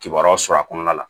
Kibaruyaw sɔrɔ a kɔnɔna la